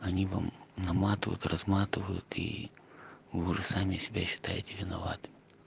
они вам наматывают разматывают и уже сами себя считаете виноват